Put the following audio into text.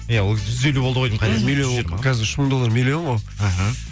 иә ол кезде жүз елу болды ғой деймін қазір үш мың доллар миллион ғой іхі